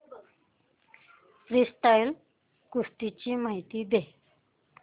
freestyle कुस्ती ची माहिती दे